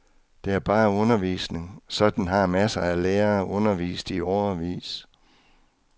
Det er bare undervisning, sådan har masser af lærere undervist i årevis.